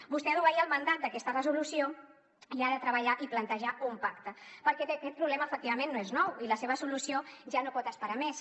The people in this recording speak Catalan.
vostè ha d’obeir el mandat d’aquesta resolució i ha de treballar i plantejar un pacte perquè aquest problema efectivament no és nou i la seva solució ja no pot esperar més